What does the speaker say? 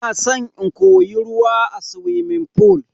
Ina san in koyi ruwa a suwimin fool.